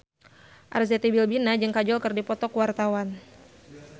Arzetti Bilbina jeung Kajol keur dipoto ku wartawan